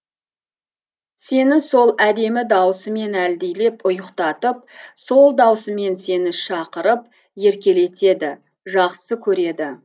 сені сол әдемі даусымен әлдилеп ұйықтатып сол даусымен сені шақырып еркелетеді жақсы көреді